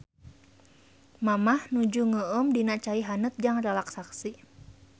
Mamah nuju ngeueum dina cai haneut jang relaksasi.